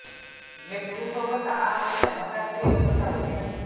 જે પુરુષો કરતા આ અંશે મોટા સ્ત્રીઓ કરતાં વધી નથી